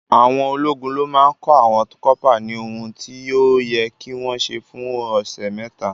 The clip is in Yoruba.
Àwọn ológun ló máa ń kọ́ àwọn kọ́pà ní ohun tí ó yẹ kí wọ́n ṣe fún ọ̀sẹ̀ mẹ́ta.